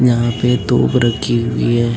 यहां पे तोप रखी हुई है।